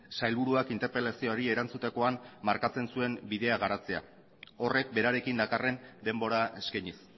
sailburuak interpelazioari erantzutekoan markatzen zuen bidea garatzea horrek berarekin dakarren denbora eskainiz